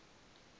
sera